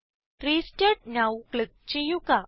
restart now click ചെയ്യുക